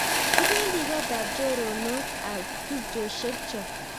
Kipendi kotap chorondok ab tupcheshek choo